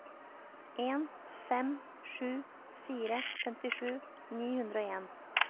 en fem sju fire femtisju ni hundre og en